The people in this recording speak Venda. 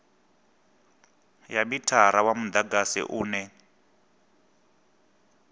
ya mithara wa mudagasi une